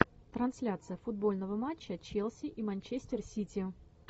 трансляция футбольного матча челси и манчестер сити